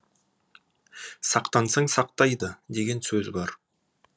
сақтансаң сақтайды деген сөз бар